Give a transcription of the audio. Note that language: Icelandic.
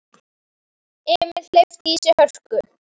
Emil hleypti í sig hörku.